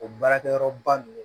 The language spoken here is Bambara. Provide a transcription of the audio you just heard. O baarakɛyɔrɔ ba ninnu